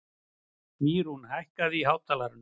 Mýrún, hækkaðu í hátalaranum.